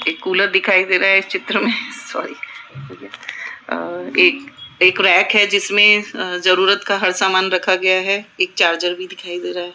एक कूलर दिखाई दे रहा है इस चित्र में सॉरी अ एक रैक है जिसमें अ जरूरत का हर सामान रखा गया है एक चार्जर भी दिखाई दे रहा है।